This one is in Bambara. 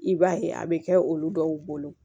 I b'a ye a bɛ kɛ olu dɔw bolo